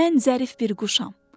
Mən zərif bir quşam.